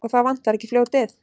Og þá vantar ekki fljótið.